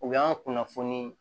U y'an ka kunnafoni